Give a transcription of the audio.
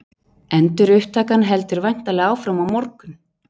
Endurupptakan heldur væntanlega áfram á morgun?